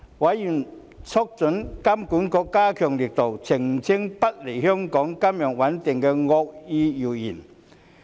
委員促請金管局嚴加澄清不利香港金融穩定的惡意謠言。